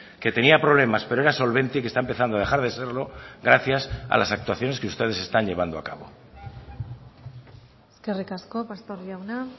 que tenía problemas pero era solvente y que está empezando a dejar de serlo gracias a las actuaciones que ustedes están llevando a cabo eskerrik asko pastor jauna